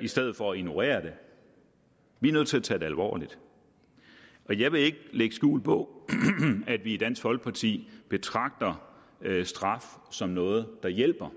i stedet for at ignorere det vi er nødt til at tage det alvorligt jeg vil ikke lægge skjul på at vi i dansk folkeparti betragter straf som noget der hjælper